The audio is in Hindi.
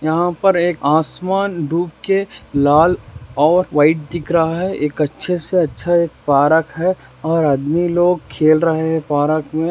यहां पर एक आसमान डूब के लाल और व्हाइट दिख रहा है एक अच्छे से अच्छा एक पार्क है आदमी लोग खेल रहे है पार्क मे।